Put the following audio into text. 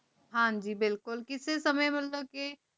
ਹਨ ਜੀ ਬਿਲਕੁਲ ਕਿਸੀ ਸਮੇ ਮਤਲਬ ਕੇ